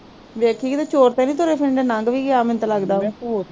ਵੇਖੀ ਕਿਤੇ ਚੋਰ ਤੇ ਨੀ ਤੁਰੇ ਫਿਰਨ ਡਏ ਨੰਗ ਵੀ ਗਿਆ ਮੈਨੂੰ ਤੇ ਲੱਗਦਾ